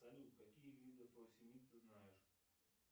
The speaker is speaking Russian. салют какие виды фуросемид ты знаешь